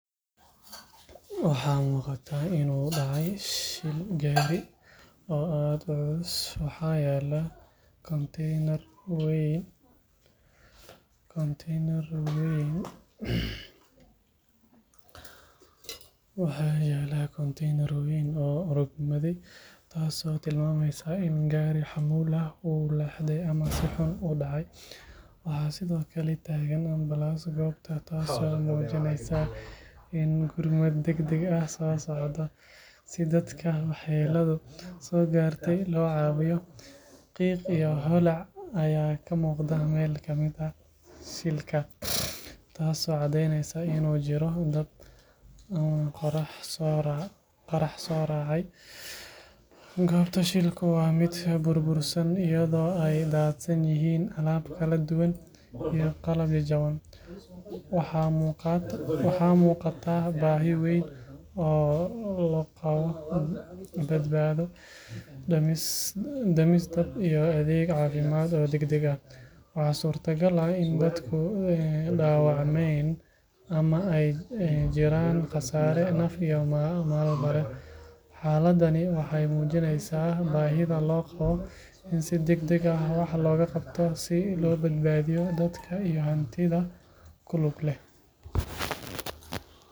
Waxaa muuqata in uu dhacay shil gaari oo aad u culus. Waxaa yaalla konteenar weyn oo rogmaday, taasoo tilmaamaysa in gaari xamuul ah uu leexday ama si xun u dhacay. Waxaa sidoo kale taagan ambalaas goobta, taasoo muujinaysa in gurmad degdeg ah socdo si dadka waxyeelladu soo gaartay loo caawiyo. Qiiq iyo holac ayaa ka muuqda meel ka mid ah shilka, taasoo caddeyneysa in uu jiro dab ama qarax soo raacay. Goobta shilku waa mid burbursan, iyadoo ay daadsan yihiin alaab kala duwan iyo qalab jajaban. Waxaa muuqata baahi weyn oo loo qabo badbaado, damis dab iyo adeeg caafimaad oo degdeg ah. Waxaa suurtagal ah in dad ku dhaawacmeen ama ay jiraan khasaare naf iyo maalba leh. Xaaladdani waxay muujinaysaa baahida loo qabo in si degdeg ah wax looga qabto si loo badbaadiyo dadka iyo hantida ku lug leh.